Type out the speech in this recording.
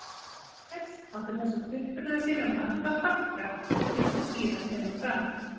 Níels átti þessum uppruna sínum margt að þakka eins og síðar kemur fram.